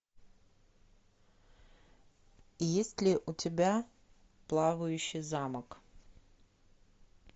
есть ли у тебя плавающий замок